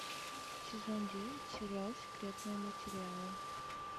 сезон девять сериал секретные материалы